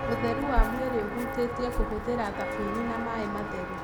Ũtheru wa mwĩrĩ ũhutĩtie kũhũthĩra thabuni na maĩ matheru.